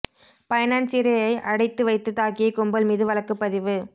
பைனான்சியரை அடைத்து வைத்து தாக்கிய கும்பல் மீது வழக்கு பதிவு